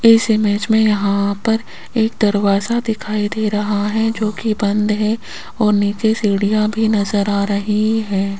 इस इमेज में यहां पर एक दरवाजा दिखाई दे रहा है जोकि बंद है और नीचे सीढ़ियां भी नजर आ रही है।